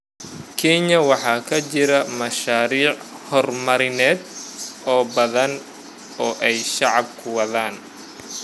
Kenya waxaa ka jira mashaariic horumarineed oo badan oo ay shacabku wadaan.